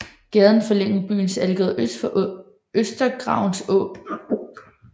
Gaden forlængede byens Algade øst for Østergravens Å